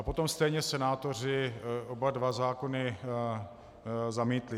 A potom stejně senátoři oba dva zákony zamítli.